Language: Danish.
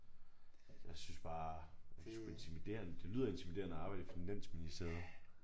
Jeg synes bare det sgu intimiderende det lyder intimiderende at arbejde i finansministeriet